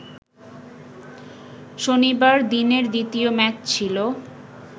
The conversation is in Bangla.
শনিবার দিনের দ্বিতীয় ম্যাচ ছিল